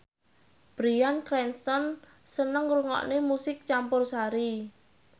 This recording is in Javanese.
Bryan Cranston seneng ngrungokne musik campursari